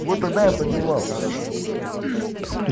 вот тогда я поднимал